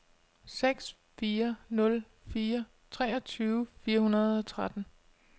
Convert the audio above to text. seks fire nul fire treogtyve fire hundrede og tretten